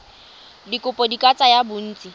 dikopo di ka tsaya bontsi